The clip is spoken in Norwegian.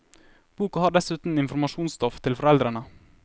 Boka har dessuten informasjonsstoff til foreldrene.